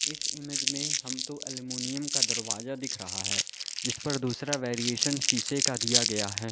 इस इमेज में हमको अल्युमिनियम का दरवाजा दिख रहा है जिस पर दूसरा वेरिएशन शीशे का दिया गया है।